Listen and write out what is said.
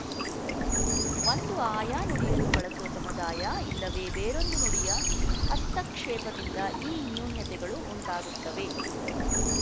ಒಂದು ಆಯಾ ನುಡಿಯನ್ನು ಬಳಸುವ ಸಮುದಾಯ ಇಲ್ಲವೇ ಬೇರೊಂದು ನುಡಿಯ ಹಸ್ತಕ್ಷೇಪದಿಂದ ಈ ನೂನ್ಯತೆಗಳು ಉಂಟಾಗುತ್ತವೆ